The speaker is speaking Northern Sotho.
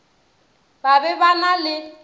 ba be ba na le